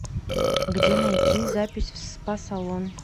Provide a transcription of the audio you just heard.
где найти запись в спа салон